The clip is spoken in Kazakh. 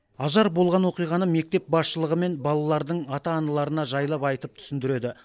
ажар болған оқиғаны мектеп басшылығы мен балалардың ата аналарына жайлап айтып түсіндіреді